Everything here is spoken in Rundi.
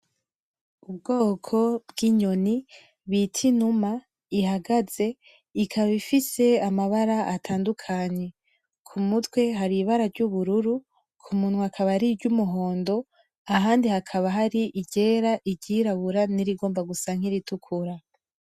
Ubwoko bw'inyoni bita inuma ihagaze, ikaba ifise amabara atandukanye. Kumutwe haribara ry'ubururu, kumunwa akaba ari ry'umuhondo, ahandi hakaba hari iryera, iryirabura, nirigomba gusa nkiritukura.